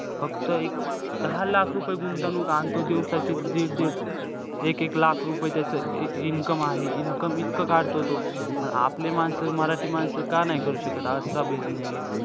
फक्त एक दहा लाख रुपये गुंतवणूक आण तू दिवसाचे दीड-दीड एक-एक लाख रुपये त्याचं income आहे. Income इतकं काढतो तो. आपले माणसं, मराठी माणसं का नाही करू शकत असा business?